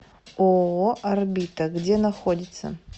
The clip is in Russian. ооо орбита где находится